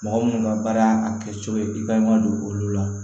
Mɔgɔ minnu ka baara kɛcogo ye i ka i ma don olu la